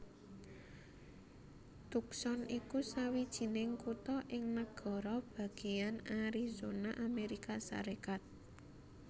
Tucson iku sawijining kutha ing nagara bagéyan Arizona Amérika Sarékat